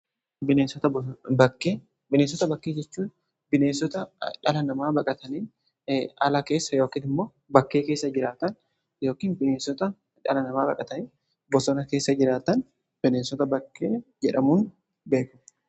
Bineensota bakkee jechuun dhala namaa baqatanii ala keessa yookan immoo bakkee keessa jiraatan yookiin bineensota dhaalanamaa baqatanii bosona keessa jiraatan bineensota bakkee jedhamuun beekamu.